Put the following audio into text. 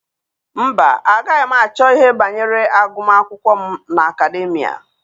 Mba, agaghị m achọ ihe banyere agụmakwụkwọ m n'Akademịa.